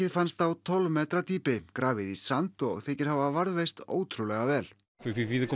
fannst á tólf metra dýpi grafið í sand og þykir hafa varðveist ótrúlega vel